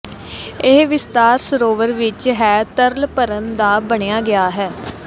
ਇਹ ਵਿਸਥਾਰ ਸਰੋਵਰ ਵਿਚ ਹੈ ਤਰਲ ਭਰਨ ਦਾ ਬਣਾਇਆ ਗਿਆ ਹੈ